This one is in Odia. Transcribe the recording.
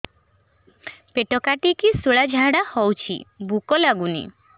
ପେଟ କାଟିକି ଶୂଳା ଝାଡ଼ା ହଉଚି ଭୁକ ଲାଗୁନି